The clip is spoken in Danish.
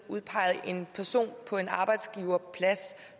udpege en person på en arbejdsgiverplads